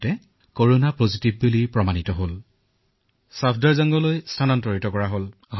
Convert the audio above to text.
চিকিৎসালয়ত তেওঁক ধনাত্মক বুলি ঘোষণা কৰিলে আৰু ছফদৰজঙলৈ স্থানান্তৰিত কৰিলে